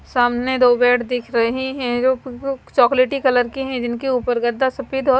सामने दो बेड दिख रहे हैं जो चॉकलेटी कलर के हैं जिनके ऊपर गद्दा सफेद और--